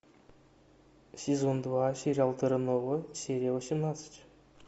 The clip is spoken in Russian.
сезон два сериал терра нова серия восемнадцать